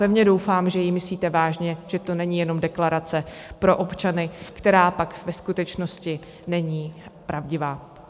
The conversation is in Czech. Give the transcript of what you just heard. Pevně doufám, že ji myslíte vážně, že to není jen deklarace pro občany, která pak ve skutečnosti není pravdivá.